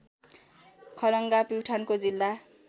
खलङ्गा प्युठानको जिल्ला